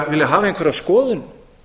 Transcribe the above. vilja hafa einhverja skoðun